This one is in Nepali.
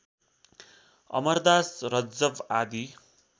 अमरदास रज्जव आदि